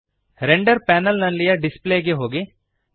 render panel ನಲ್ಲಿಯ display ಗೆ ಹೋಗಿರಿ